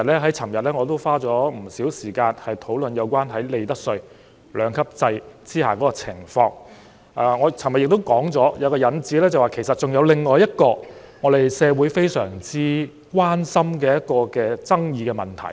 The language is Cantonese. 我昨天已花了不少時間討論在利得稅兩級制下的情況，我還提出，就着今次一次性扣減，其實還有另一個社會相當關心的爭議問題。